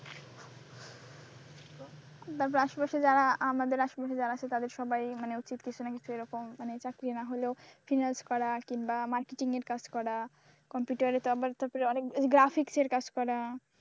তারপর আশেপাশে যারা আমাদের আশেপাশে যারা আছে সবাই মানে উচিত কিছু না কিছু এরকম মানে চাকরি না হলেও finance করা কিংবা marketing এর কাজ করা কম্পিউটারে তো আবার তারপরে আবার অনেক graphics এর কাজ করা,